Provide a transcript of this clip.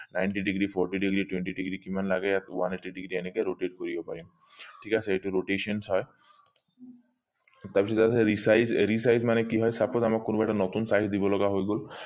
ninety degree forty degree twenty degree কিমান লাগে ইয়াত one eighty degree এনেকে rotate কৰিব পাৰিম ঠিক আছে এইটো rotations হয় তাৰ পিছত আছে resize resize মানে কি হয় suppose আমাক কোনোবা এটা নতুন size দিব লগা হৈ গল